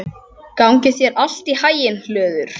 Gangi þér allt í haginn, Hlöður.